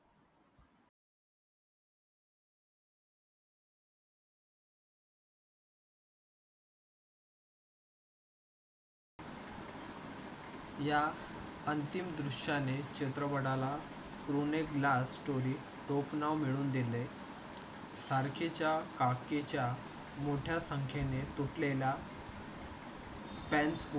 या अंतिम दृश्या ने चित्रपटा ला जणू एक ला story खूप नाव मिळवून दिले. सारखेच्या हाके च्या मोठ्या संख्येने तुटले ला. fans